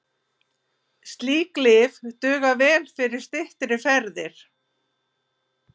Slík lyf duga vel fyrir styttri ferðir.